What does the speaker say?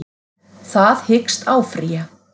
Það hyggst áfrýja